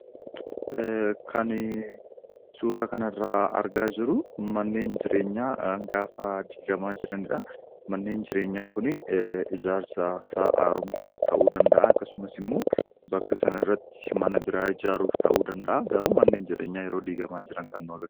Kanii suuraa kanarraa argaa jiru manneen jireenyaa gaafa diigamaa jirani dha. Manneen jireenyaa kuni ijaarsasaa haaromsuuf ta'uu danda'aa; akkasumas immoo bakka sanarratti mana biraa ijaaruuf ta'uu danda'a. Garuu manneen jireenyaa yeroo diigamaa jiran kan nu aga....